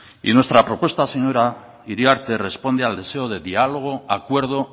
y nuestra propuesta señora iriarte responde al deseo de diálogo acuerdo